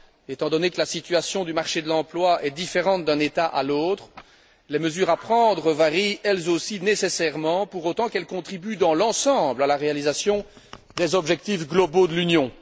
Étant donné que la situation du marché de l'emploi est différente d'un État à l'autre, les mesures à prendre varient elles aussi nécessairement, pour autant qu'elles contribuent, dans l'ensemble, à la réalisation des objectifs globaux de l'Union.